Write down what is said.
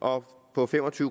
og på fem og tyve